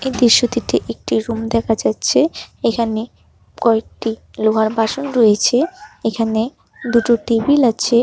এই দৃশ্যটিতে একটি রুম দেখা যাচ্ছে এখানে কয়েকটি লোহার বাসন রয়েছে এখানে দুটো টেবিল আছে।